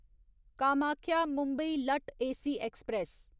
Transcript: कामाख्या मुंबई लट्ट AC express